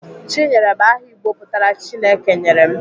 Chinyere bụ aha Igbo pụtara "Chineke nyere m."